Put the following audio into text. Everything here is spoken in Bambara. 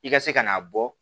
I ka se ka n'a bɔ